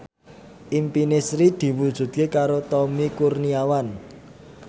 impine Sri diwujudke karo Tommy Kurniawan